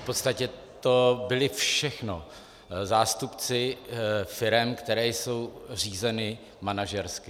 V podstatě to byli všechno zástupci firem, které jsou řízeny manažersky.